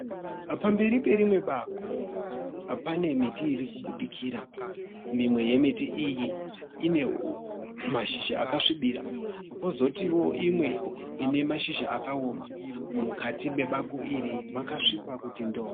Pamberi perimwe bako pane miti iri kubudikira. Mimwe yemiti iyi ine mashizha akasvibira kozotiwo imwe ine mashizha akaoma. Mukati mebako iri makasviba kuti ndo-o.